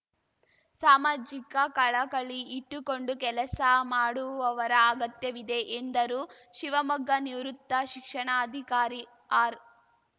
ಸಾಮಾಜಿಕ ಕಳಕಳಿ ಇಟ್ಟುಕೊಂಡು ಕೆಲಸ ಮಾಡುವವರ ಅಗತ್ಯವಿದೆ ಎಂದರು ಶಿವಮೊಗ್ಗ ನಿವೃತ್ತ ಶಿಕ್ಷಣಾಧಿಕಾರಿ ಆರ್‌